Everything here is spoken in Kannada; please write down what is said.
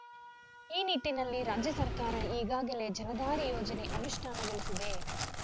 ಈ ನಿಟ್ಟಿನಲ್ಲಿ ರಾಜ್ಯ ಸರ್ಕಾರ ಈಗಾಗಲೇ ಜಲಧಾರೆ ಯೋಜನೆ ಅನುಷ್ಠಾನಗೊಳಿಸಿದೆ